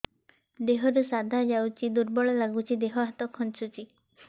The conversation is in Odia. ଦେହରୁ ସାଧା ଯାଉଚି ଦୁର୍ବଳ ଲାଗୁଚି ଦେହ ହାତ ଖାନ୍ଚୁଚି